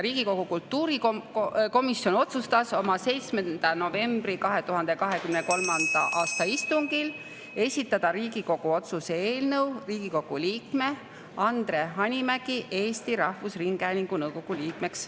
Riigikogu kultuurikomisjon otsustas oma 7. novembri 2023. aasta istungil esitada Riigikogu otsuse eelnõu Riigikogu liikme Andre Hanimägi nimetamiseks Eesti Rahvusringhäälingu nõukogu liikmeks.